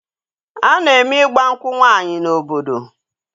A na-eme ịgba nkwụ nwaanyị n'obodo